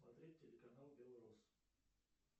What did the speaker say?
смотреть телеканал белрос